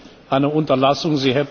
Das ist echt eine Unterlassung.